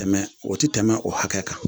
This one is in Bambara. Tɛmɛ o ti tɛmɛ o hakɛ kan.